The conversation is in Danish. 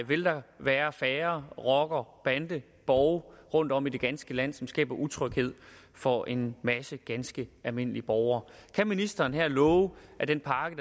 vil der være færre rocker bande borge rundtom i det ganske land som skaber utryghed for en masse ganske almindelige borgere kan ministeren her love at den pakke